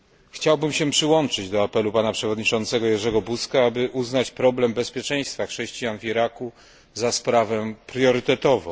Chciałbym się przyłączyć do apelu pana przewodniczącego Jerzego Buzka o uznanie problemu bezpieczeństwa chrześcijan w Iraku za sprawę priorytetową.